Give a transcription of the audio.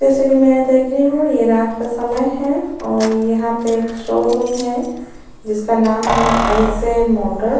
जैसा की मैं देख रही हूँ ये रात का समय है और यहाँ पे शोरूम है जिसका नाम है आईजी मोटर --